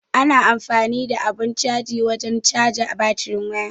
Ana amfani da abun caji wajen caja batirin waya.